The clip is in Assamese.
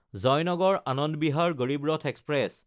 জয়নগৰ–আনন্দ বিহাৰ গড়ীব ৰথ এক্সপ্ৰেছ